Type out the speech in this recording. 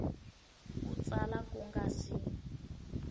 ku tsala ku nga si